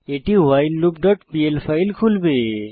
এটি whileloopপিএল ফাইল খুলবে